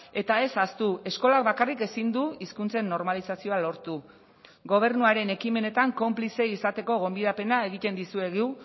eta ez ahaztu eskolak bakarrik ezin du hizkuntzen normalizazioa lortu gobernuaren ekimenetan konplize izateko gonbidapena egiten dizuegu